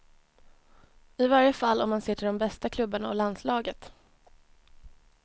I varje fall om man ser till de bästa klubbarna och landslaget.